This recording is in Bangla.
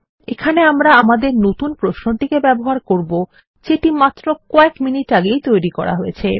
এখানে আমরা আমাদের নতুন প্রশ্নটিকে ব্যবহার করবো যেটি মাত্র কয়েক মিনিট আগে তৈরী করা হয়েছে